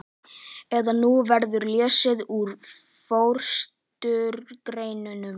eða Nú verður lesið úr forystugreinum